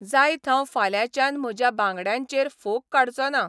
जायत हांव फाल्यांच्यान म्हज्या बांगड्यांचेर फोग काडचों ना.